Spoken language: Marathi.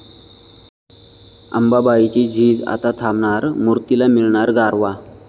अंबाबाईची झीज आता थांबणार, मूर्तीला मिळणार गारवा